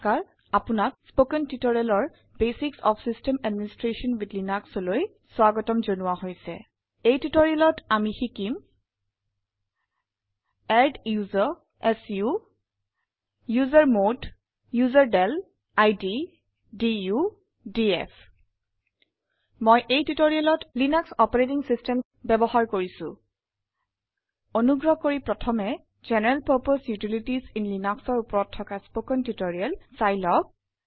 আপোনাক স্পোকেন Tutorialৰ basics of system administration with LINUXলৈ স্বাগতম জনোৱা হৈছে এই tutorialত আমি শিকিম adduser chown usermod userdel id du DF মই এই tutorialত লিনাস অপাৰেটিং চিষ্টেম ব্যৱহাৰ কৰিছো অনুগ্ৰহ কৰি প্ৰথম জেনাৰেল পাৰ্পছে ইউটিলিটিজ ইন Linuxৰ ওপৰত থকা স্পোকেন টিউটৰিয়েল চাই আহক